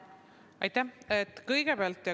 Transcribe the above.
Aitäh!